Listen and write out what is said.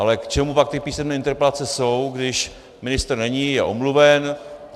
Ale k čemu pak ty písemné interpelace jsou, když ministr není, je omluven?